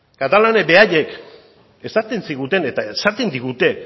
katalanek beraiek esaten ziguten eta esaten digute